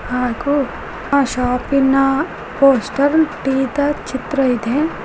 ಹಾಗೂ ಆ ಶಾಪ್ ಇನ ಪೋಸ್ಟರ್ ಟೀ ದ ಚಿತ್ರ ಇದೆ.